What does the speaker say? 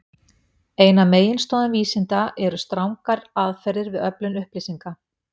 Ein af meginstoðum vísinda eru strangar aðferðir við öflun upplýsinga.